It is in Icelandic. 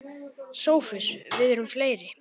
SOPHUS: Við erum fleiri.